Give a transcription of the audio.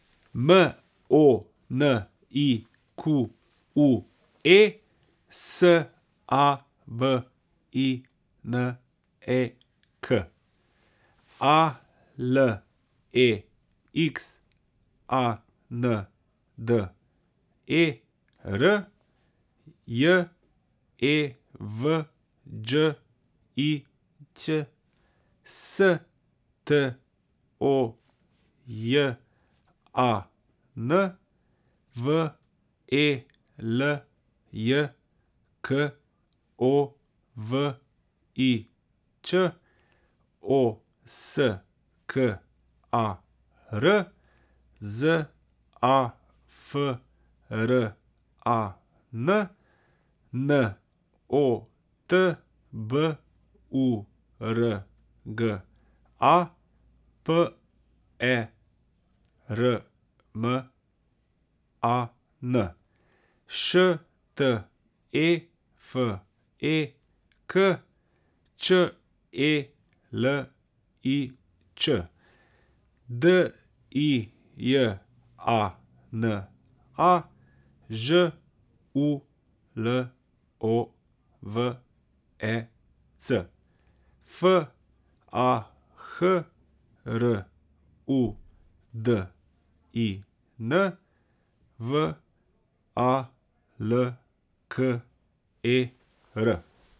M O N I Q U E, S A V I N E K; A L E X A N D E R, J E V Đ I Ć; S T O J A N, V E L J K O V I Ć; O S K A R, Z A F R A N; N O T B U R G A, P E R M A N; Š T E F E K, Č E L I Č; D I J A N A, Ž U L O V E C; F A H R U D I N, V A L K E R.